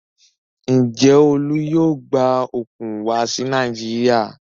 Ǹjẹ́ Olú yóò gba òkun wá sí Nàìjíríà?